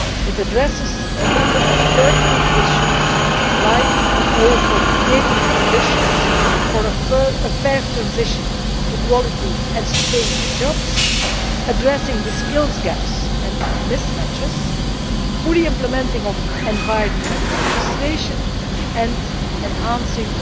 It addresses a number of pertinent issues, like a call for creating the conditions for a fair transition to quality and sustainable jobs, addressing the skills gaps and mismatches, full implementation of environmental legislation and enhancing